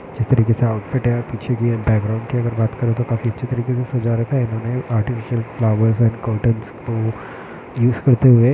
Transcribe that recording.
जिस तरीके से ऑउटफिट है पीछे भी बैकग्राउंड की अगर बात करे तो काफी अच्छी तरीके से सजा रखा है इन्होने आर्टिफीसियल फ्लावर्स एंड कोटंस को यूज़ करते हुए--